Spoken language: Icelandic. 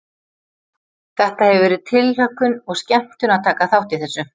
Þetta hefur verið tilhlökkun og skemmtun að taka þátt í þessu.